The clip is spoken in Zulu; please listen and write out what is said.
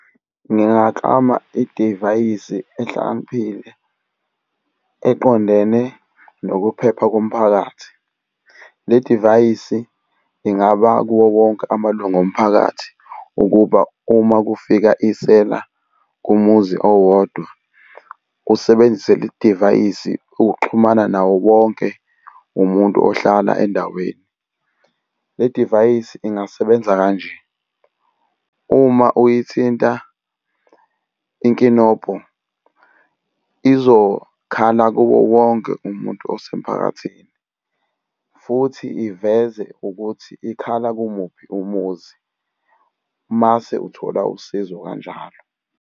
Ngingaklama idivayisi ehlakaniphile eqondene nokuphepha komphakathi. Le divayisi ingaba kuwo wonke amalungu omphakathi ukuba uma kufika isela kumuzi owodwa, usebenzise le divayisi ukuxhumana nawo wonke umuntu ohlala endaweni. Le divayisi ingasebenza kanje, uma uyithinta inkinobho izokhala kuwo wonke umuntu osemphakathini, futhi iveze ukuthi ikhala kumuphi umuzi, mase uthola usizo kanjalo.